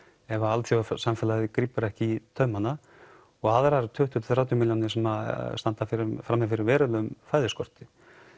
ef alþjóðasamfélagið grípur ekki í taumana og svo aðrar tuttugu til þrjátíu milljónir sem standa frammi fyrir verulegum fæðuskorti